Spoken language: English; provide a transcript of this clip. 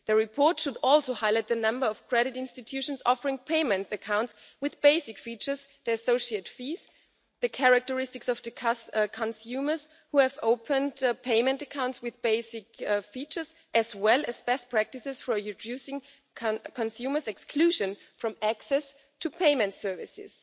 The report should also highlight the number of credit institutions offering payment accounts with basic features, the associate fees, the characteristics of the consumers who have opened payment accounts with basic features, as well as best practices for reducing consumers' exclusion from access to payment services.